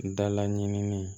Dala ɲini